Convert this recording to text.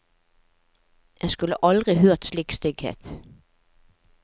En skulle aldri hørt slik stygghet.